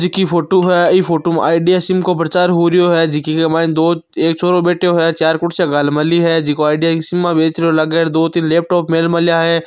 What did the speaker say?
ये कोई फोटो है इ फोटो में आईडिया सिम की प्रचार हो रहो है जीके के मायने दो एक छोरो बैठियो है चार कुर्सीया दो तीन लैपटॉप मेलिया है।